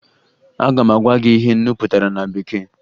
Aga m agwa gị ihe nnu pụtara na bekee